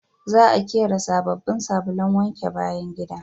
Za a ƙera sabobbin sabulun wanke bayan gida